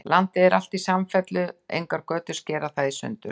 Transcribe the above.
Landið er alt í samfellu, engar götur skera það í sundur.